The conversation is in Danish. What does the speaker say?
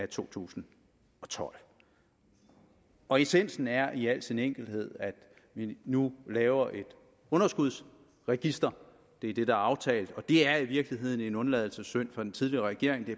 to tusind og tolv og essensen er i al sin enkelhed at vi nu laver et underskudsregister det er det der er aftalt og det er i virkeligheden en undladelsessynd af den tidligere regering det